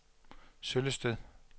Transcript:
Søllested